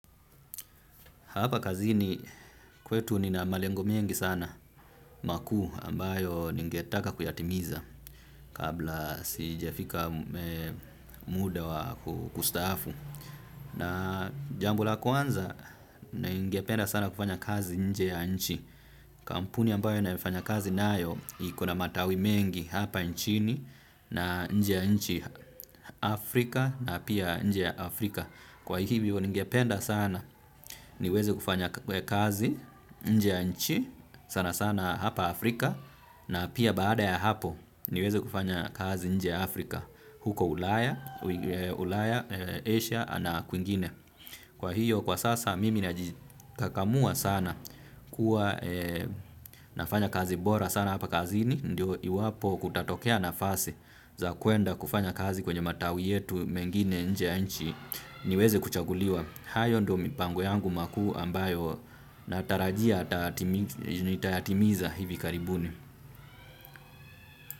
Hapa kazini kwetu nina malengo mengi sana makuu ambayo ningetaka kuyatimiza kabla sijafika muda wa kustaafu. Na jambi la kwanza ningependa sana kufanya kazi nje ya nchi. Kampuni ambayo nayofanya kazi nayo iko na matawi mengi hapa nchini na nje ya nchi, Afrika na pia nje ya Afrika. Kwa hivyo ningependa sana niweze kufanya kazi nje nchi sana sana hapa Afrika na pia baada ya hapo niweze kufanya kazi nje Afrika huko ulaya Asia na kwingine. Kwa hio kwa sasa mimi najikakamua sana kuwa nafanya kazi bora sana hapa kazini ndio iwapo kutatokea nafasi za kuenda kufanya kazi kwenye matawi yetu mengine nje ya nchi niweze kuchaguliwa. Hayo ndio mipango yangu makuu ambayo natarajia nitayatimiza hivi karibuni.